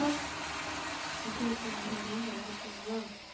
எப்படி இருக்கீங்க சைரா நல்லா இருக்கீங்களா?